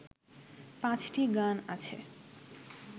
পাঁচটি গান আছে